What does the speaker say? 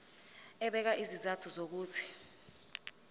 ebeka izizathu zokuthi